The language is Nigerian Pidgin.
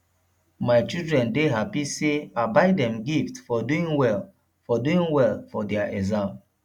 my children dey happy say i buy dem gift for doing well for doing well for their exam